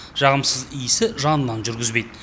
жағымсыз иісі жанынан жүргізбейді